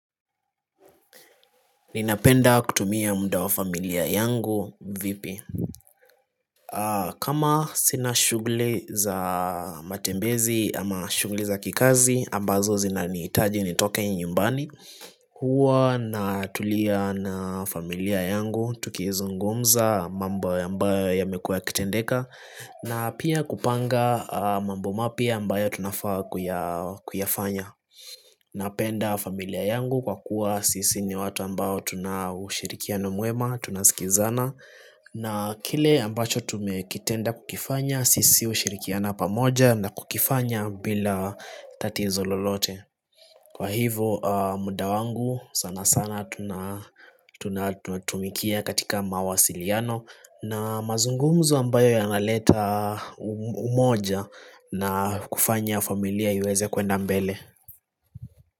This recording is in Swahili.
Ninapenda kutumia muda wa familia yangu vipi? Kama sina shughuli za matembezi ama shughuli za kikazi ambazo zinanihitaji nitoke nyumbani Hua na tulia na familia yangu tukizugumza mambo ya ambayo yamekua yakitendeka na pia kupanga mambo mapya ambayo tunafaa kuyafanya na penda familia yangu kwa kuwa sisi ni watu ambao tunaushirikiano mwema tunasikizana na kile ambacho tumekitenda kukifanya sisi ushirikiana pamoja na kukifanya bila tatizo lolote Kwa hivyo muda wangu sana sana tunatumikia katika mawasiliano na mazungumzo ambayo yanaleta umoja na kufanya familia iweze kwenda mbele.